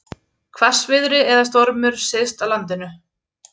Hvassviðri eða stormur syðst á landinu